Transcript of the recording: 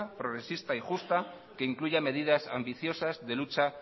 progresista y justa que incluya medidas ambiciosas de lucha